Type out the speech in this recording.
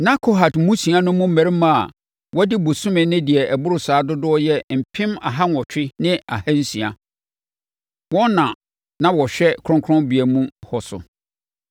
Na Kehat mmusua no mu mmarima a wɔadi bosome ne deɛ ɛboro saa dodoɔ yɛ mpem aha nwɔtwe ne ahansia (8,600). Wɔn na na wɔhwɛ kronkronbea mu hɔ so.